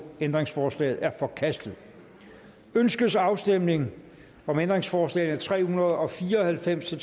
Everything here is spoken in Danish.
ændringsforslaget er forkastet ønskes afstemning om ændringsforslag nummer tre hundrede og fire og halvfems til